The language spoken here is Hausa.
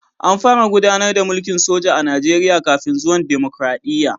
An fara gudanar da mulkin soja a Najeriya kafin zuwan dimokradiyya